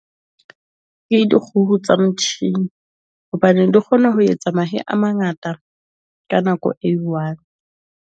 Ke dikgoho tsa motjhini hobane di kgona ho etsa mahe a mangata ka nako e i-one.